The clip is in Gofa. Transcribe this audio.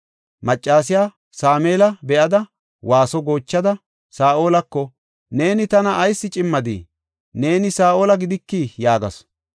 Maccasiya Sameela be7ada, waaso goochada, Saa7olako, “Neeni tana ayis cimmadii? Neeni Saa7ola gidiki!” yaagasu.